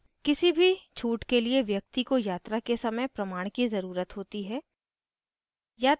किसी भी छूट के लिए व्यक्ति को यात्रा के समय प्रमाण की ज़रुरत होती है